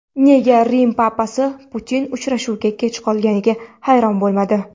Nega Rim papasi Putin uchrashuvga kech qolganiga hayron bo‘lmadi?